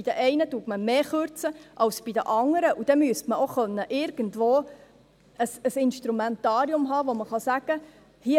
Bei den einen kürzt man mehr als bei den anderen, und dann müsste man auch irgendwo ein Instrumentarium haben, mit dem man sagen kann: